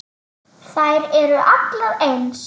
Þær eru allar eins.